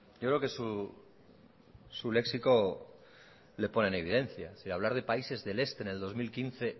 yo creo que su léxico le pone en evidencia hablar de países del este en el dos mil quince